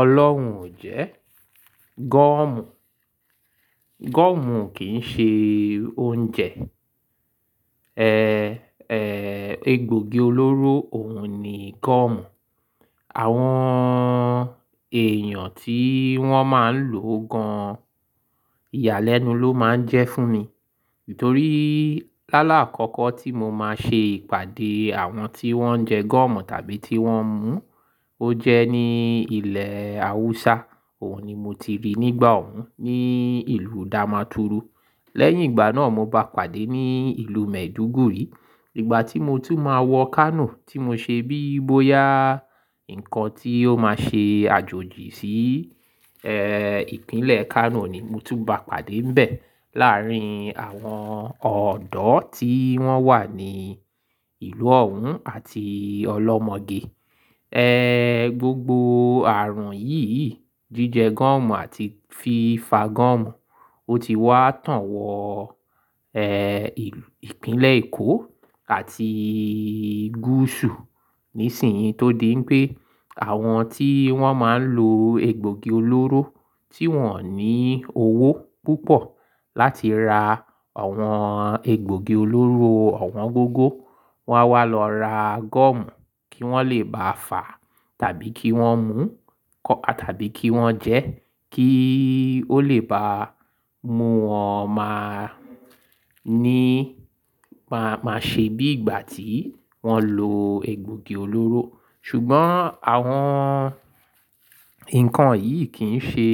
Ọlọ́hun ò jẹ́ gọ́ọ̀mù. Gọ́ọ̀mù kì í ṣe oúnjẹ. Egbògi olóró òun ni gọ́ọ̀mù. Àwọn èèyàn tí wọ́n máa ń lo gan, ìyàlẹ́nu ló máa ń jẹ́ fún mi. Nítorí lálàá àkọ́kọ́ tí mo máa ṣe ìpàdé àwọn tí wọ́n jẹ gọ́ọ̀mù tàbí tí wọ́n ń mú, ó jẹ́ ní ilẹ̀ Haúsá. Òun ni mo ti rí nígbà òun ní ìlú Damaturu. Lẹ́yìn ìgbà náà, mo bá pàdé ní ìlú Maiduguri. Ìgbà tí mo tún máa wọ Kano tí mo ṣe bí i bóyá nǹkan tí ó máa ṣe àjòjì sí Ìpínlẹ̀ Kano ni mo tún bá pàdé níbẹ̀ láàrín àwọn ọ̀dọ́ tí wọ́n wà ní ìlú òun àti olọ́mọge. Gbogbo ààrùn yìí, jíjẹ gọ́ọ̀mù àti fi fà gọ́ọ̀mù, ó ti wá tán wọ ìlú, Ìpínlẹ̀ Èkó àti Gúsù. Nísìnyí tó di pé àwọn tí wọ́n máa ń lo egbògi olóró tí wọ́n ò ní owó púpọ̀ láti ra àwọn egbògi olóró owọn gógó, wọ́n á wá lọ ra gọ́ọ̀mù kí wọ́n lè bá fà tàbí kí wọ́n mú tàbí kí wọ́n jẹ́ kí ó lè bá mú wọn máa ní, máa, máa ṣe bí ìgbà tí wọ́n lo egbògi olóró. Ṣùgbọ́n àwọn nǹkan yìí kì í ṣe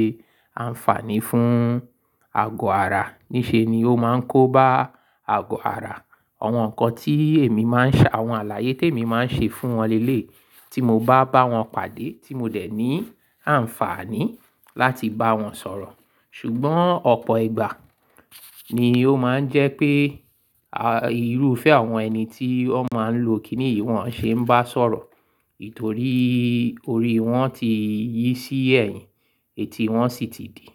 àǹfààní fún ago ara. Níṣe ni ó máa ń kóba ago ara. Àwọn nǹkan tí èmi máa ń ṣa, àwọn àlàyé tí èmi máa ń ṣe fún wọn lẹ́é tí mo bá bá wọn pàdé tí mo dẹ̀ ní àǹfààní láti bá wọn sọ̀rọ̀. Ṣùgbọ́n ọ̀pọ̀ ìgbà ni ó máa ń jẹ́ pé irúfẹ́ àwọn ẹni tí ó máa ń lo kìní ìwọ̀n ṣe ń bá sọ̀rọ̀. Nítorí orí wọn ti yí sí ẹ̀yìn, eti wọn sì ti di.